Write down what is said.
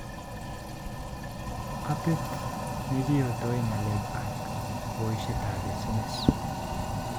Appit nekiyotoe ngalek ak boishetab SMS